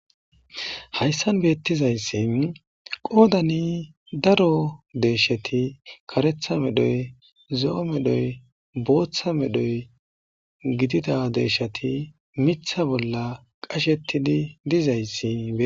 Hayssan beettizayssi qoodani daro deesheti karetha medhoy zo'o medhoy booththa medhoy gidida deeshati mitha bolla qashettidi dizayssi.